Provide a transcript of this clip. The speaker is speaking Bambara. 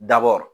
Dabɔ